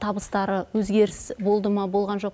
табыстары өзгеріс болды ма болған жоқ